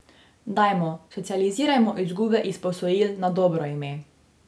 Dajmo, socializirajmo izgube iz posojil na dobro ime.